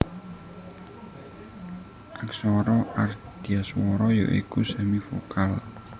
Aksara Ardhaswara ya iku semivokal